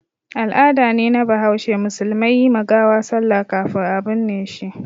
Al'ada ne na bahaushe musulmai yi ma gawa sallah kafin a binne shi.